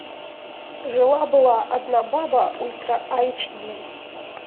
жила была одна баба ультра айч ди